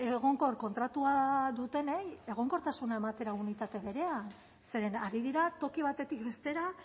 egonkor kontratua dutenei egonkortasuna ematera unitate berea zeren ari dira toki batetik bestera